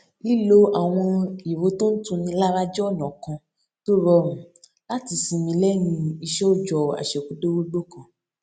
lílo àwọn ìró tó ń tuni lára jé ònà kan tó rọrùn láti sinmi léyìn iṣé òòjọ àṣekúdórógbó kan